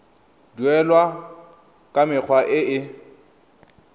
duelwa ka mekgwa e e